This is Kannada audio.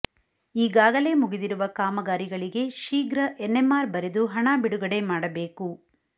ಈಗಾಗಲೇ ಮುಗಿದಿರುವ ಕಾಮಗಾರಿಗಳಿಗೆ ಶೀಘ್ರ ಎನ್ಎಂಆರ್ ಬರೆದು ಹಣ ಬಿಡುಗಡೆ ಮಾಡಬೇಕು